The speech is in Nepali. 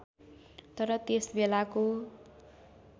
तर त्यस बेलाको